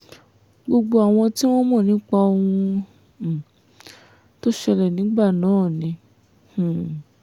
gbogbo àwọn tí wọ́n mọ̀ nípa ohun um tó ṣẹlẹ̀ nígbà náà ni um